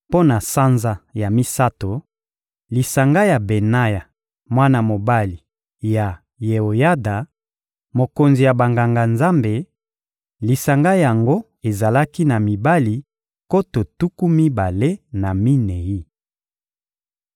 Mpo na sanza ya misato: lisanga ya Benaya, mwana mobali ya Yeoyada, mokonzi ya Banganga-Nzambe; lisanga yango ezalaki na mibali nkoto tuku mibale na minei.